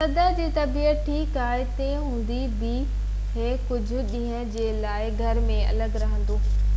صدر جي طبيعت ٺيڪ آهي تنهن هوندي بہ هي ڪجهہ ڏينهن جي لاءِ گهر ۾ الڳ رهندو